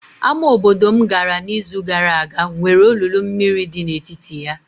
Ámá obodo m gara n'izu gara aga nwere olulu mmiri dị n'etiti ya.